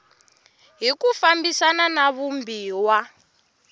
hi ku fambisana na vumbiwa